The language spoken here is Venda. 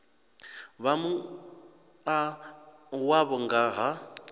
vha mua wavho nga ha